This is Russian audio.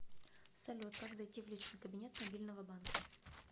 салют как зайти в личный кабинет мобильного банка